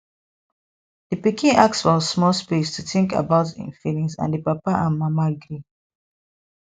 di pikin ask for small space to think about im feelings and di papa and mama gree